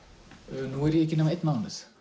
nú er ég ekki nema einn mánuð